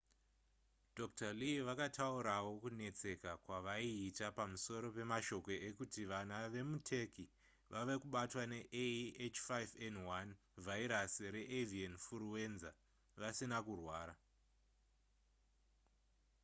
dr. lee vakataurawo kunetseka kwavaiita pamusoro pemashoko ekuti vana vemuturkey vava kubatwa nea h5n1 vhairasi reavian furuwenza vasina kurwara